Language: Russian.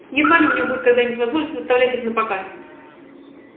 едва ли у нее будет когда-нибудь возможность выставлять их напоказ